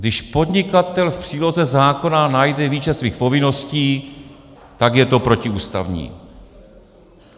Když podnikatel v příloze zákona najde výčet svých povinností, tak je to protiústavní.